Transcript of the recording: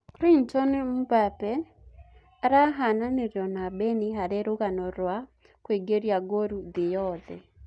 Chrinton Mbabe arahananirio na Beni harĩ rũgano rũa kũingĩria ngũru thĩ-yothe